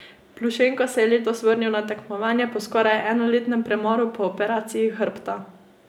Plušenko, se je letos vrnil na tekmovanja po skoraj enoletnem premoru po operaciji hrbta.